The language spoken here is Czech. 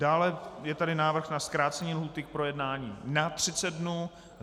Dále je tady návrh na zkrácení lhůty k projednání na 30 dnů.